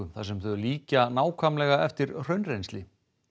þar sem þau líkja nákvæmlega eftir hraunrennsli